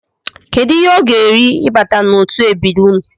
Kedụ ihe ọ ga-eri ịbata n'otu ebiri unu?